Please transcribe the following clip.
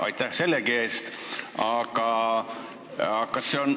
Aitäh sellegi eest!